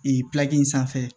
Ee in sanfɛ